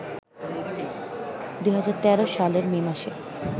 ২০১৩ সালের মে মাসে